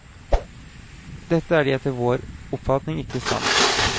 Dette er de etter vår oppfatning ikke i stand til.